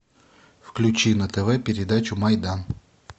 включи на тв передачу майдан